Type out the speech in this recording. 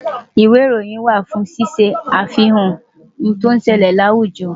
Ìwé ìròyìn wà fún ṣíṣe àfihàn ohun tí ó ń ṣẹlẹ̀ láwùjọ.